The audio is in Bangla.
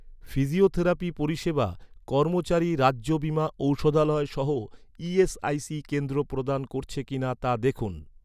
ফিজিওথেরাপি পরিষেবা, কর্মচারী রাজ্য বীমা ঔষধালয়সহ ইএসআইসি কেন্দ্র প্রদান করছে কিনা, তা দেখুন